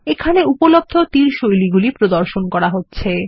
এইখানে উপলব্ধ তীর শৈলীগুলি প্রদর্শন করা হচ্ছে